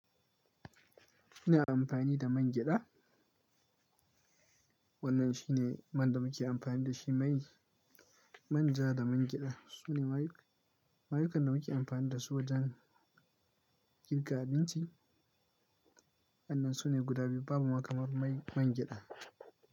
Ina amfani da man gyaɗa. Wannan shine man da muke amfani da shi, mai manja da man gyaɗa. Su ne ma yuk-mayukan da muke amfani da su wajen girka abinci. Sannun su ne guda biyu, babu makamar man gyaɗa.